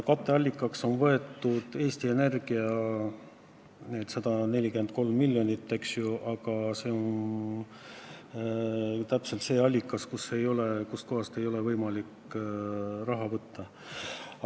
Katteallikaks on pakutud Eesti Energia 143 miljonit, aga see on allikas, kust kohast ei ole võimalik raha võtta.